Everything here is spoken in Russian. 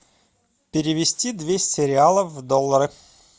перевести двести реалов в доллары